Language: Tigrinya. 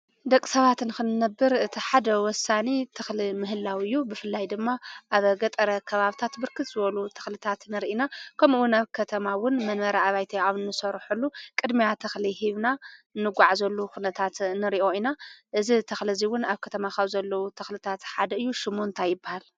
ደቂ ሰባት ንክነብር እቲ ሓደ ወሳኒ ተክሊ ምህላው እዩ:: ብፍላይ ድማ ኣብ ገጠር ከባቢታት ብርክት ዝበሉ ተክልታት ንርኢ ኢና:: ከምኡ እውን ኣብ ከተማ እውን ንመንበሪ ኣባይቲ ኣብ ንሰርሐሉ ቅድምያ ተክሊ ሂብና እንጎዓዘሉ ኩነታት ንሪኦ ኢና:: እዚ ተክሊ እዚ እውን ኣብ ከተማ ካብ ዘለው ተክልታት ሓደ እዩ:: ሽሙ እንታይ ይበሃል ም